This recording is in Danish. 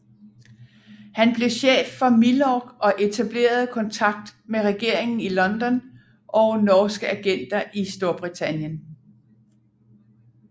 Han blev chef for Milorg og etablerede kontakt med regeringen i London og norske agenter i Storbritannien